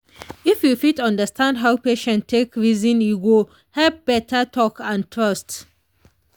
if you fit understand how patient take reason e go help better talk and trust.